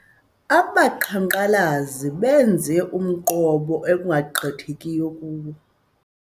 Abaqhankqalazi benze umqobo ekungagqithekiyo kuwo.